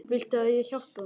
Viltu að ég hjálpi honum?